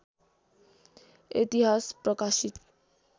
इतिहास प्रकाशित